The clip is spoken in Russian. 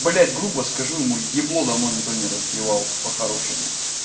блять грубо скажу ему ебло давно никто не разбивал по-хорошему